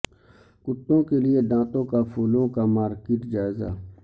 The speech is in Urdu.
کتوں کے لئے دانتوں کا پھولوں کا مارکیٹ جائزہ